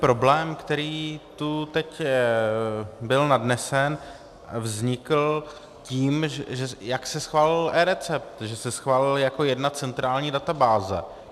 Problém, který tu teď byl nadnesen, vznikl tím, jak se schválil eRecept, že se schválil jako jedna centrální databáze.